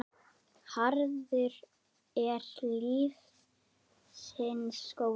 Harður er lífsins skóli.